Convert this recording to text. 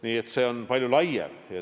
Nii et see on palju laiem teema.